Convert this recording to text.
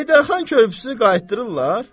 Heydərxan körpüsünü qaytırdırlar?